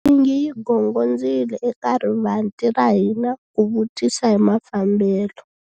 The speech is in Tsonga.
Nsingi yi gongondzile eka rivanti ra hina ku vutisa hi mafambelo.